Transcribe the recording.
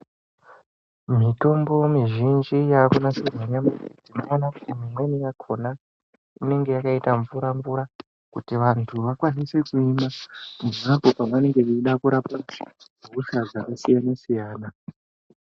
Mitombo mwizhinji yakunasirwa nyamashi unoona kuti imweni yakona inenge yakaita mvura mvura kuti vantu vakwanise kuimwa pavanenge vachida kurapwa zvirwere zvakasiyana siyana.